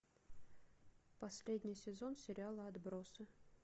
последний сезон сериала отбросы